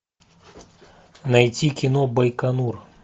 найти кино байконур